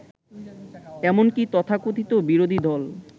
এমনকি তথাকথিত বিরোধীদল